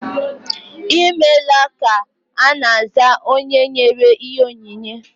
Ịmela ka ana aza onye nyere ihe onyinye